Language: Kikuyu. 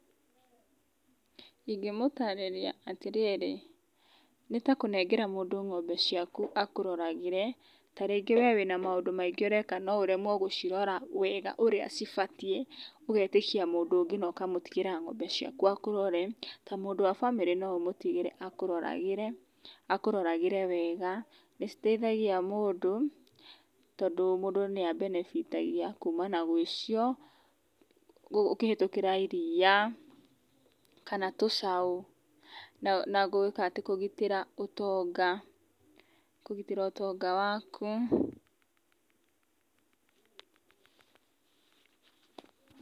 Ingĩmũtarĩria atĩrĩrĩ, nĩtakũnengera mũndũ ng'ombe ciaku akũroragĩre, ta rĩngĩ we wĩ na maũndũ maingĩ ũreka no ũremwo gũcirora wega ũrĩa cibatiĩ, ũgetĩkia mũndũ ũngĩ, na ũkamũtigĩra ng'ombe ciaku akũrorere, ta mũndũ wa bamĩrĩ no ũmũtigĩre akũroragĩre, akũroragĩre wega, nĩciteithagia mũndũ, tondũ mũndũ nĩabenebitagia kuma na gwĩcio, ũkĩhĩtũkĩra iria, kana tũcaũ na gwĩka atĩ, kũgitĩra ũtonga, kũgitĩra ũtonga waku.